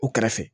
U kɛrɛfɛ